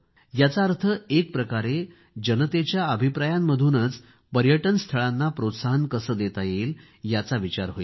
याचा अर्थ एक प्रकारे जनतेच्या अभिप्रायांमधूनच पर्यटन स्थानांना प्रोत्साहन कसे देता येईल याचा विचार होईल